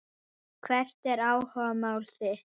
Hvert er áhugamál þitt?